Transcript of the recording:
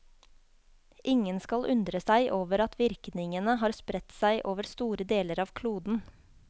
Ingen skal undre seg over at virkningene har spredt seg over store deler av kloden.